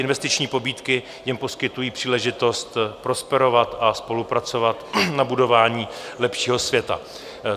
Investiční pobídky jim poskytují příležitost prosperovat a spolupracovat na budování lepšího světa.